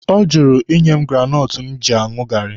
Ọ jụrụ ịnye m granọtụ m ji aṅụ gaarị